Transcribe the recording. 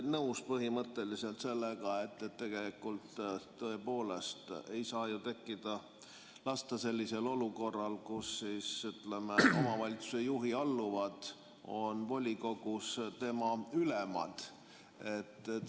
Olen põhimõtteliselt täiesti nõus sellega, et tegelikult ei saa tõepoolest ju lasta tekkida sellisel olukorral, kus omavalitsuse juhi alluvad on volikogus tema ülemad.